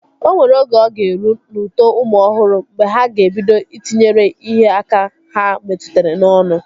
O nwere oge ọ ga-eru n'uto ụmụ ọhụrụ mgbe ha ga-ebido Ị tinyere ihe aka ha metụtara n'ọnụ